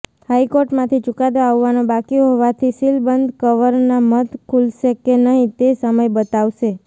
હાઈકોર્ટમાંથી ચુકાદો આવવાનો બાકી હોવાથી સીલબંધ કવરના મત ખુલશે કે નહિ તે સમય બતાવશે